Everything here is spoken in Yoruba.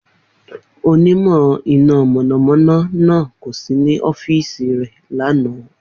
Onímọ̀ iná mọ̀nàmọ́ná náà kò sí ní ọ́fíìsì rẹ̀ lánàá.